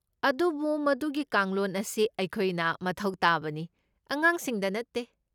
ꯑꯗꯨꯕꯨ ꯃꯗꯨꯒꯤ ꯀꯥꯡꯂꯣꯟ ꯑꯁꯤ ꯑꯩꯈꯣꯏꯅ ꯃꯊꯧ ꯇꯥꯕꯅꯤ, ꯑꯉꯥꯡꯁꯤꯡꯗ ꯅꯠꯇꯦ꯫